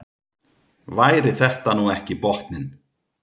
Væri þetta nú ekki botninn?